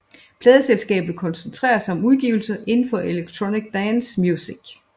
Pladeselskabet koncentrerer sig om udgivelser indenfor electronic dance music